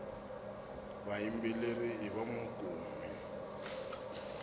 vayimbeleri i vanwankumi